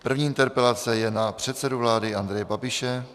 První interpelace je na předsedu vlády Andreje Babiše.